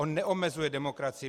On neomezuje demokracii.